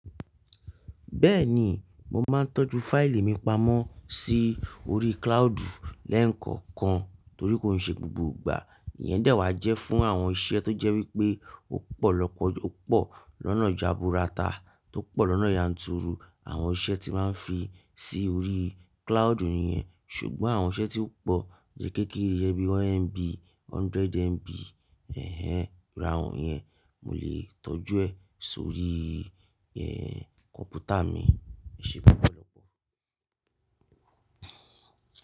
Bẹ́ẹ̀ni, mo máa ń tọ́jú fáìlì mi pamọ́ sí orí cloud lẹ́ẹ̀kookan torí kò n ṣe gbogbo ìgbà ìyẹn de wá jẹ́ fún àwọn iṣẹ́ tó jẹ́ wípé ọ̀ pọ̀ lọ́pọ̀ lọ́nà jaburata tó pọ̀ lọ́nà yanturu. Àwọn iṣẹ́ tí máa ń fi sí orí cloud nìyẹn, ṣùgbọ́n àwọn iṣẹ́ tí ó pọ̀ iyen kékeré bí i 1MB, 100MB, ẹ́hẹ́n, ìru awọ̀n yẹn, mo lè tọ́jú ẹ̀ sórí, kọ̀npútà mi. Ẹ ṣe lopọ̀ lọ́pọ̀.